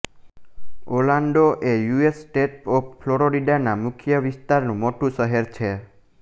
Orlando એ U S state of ફ્લોરિડાના મધ્ય વિસ્તારનું મોટું શહેર છે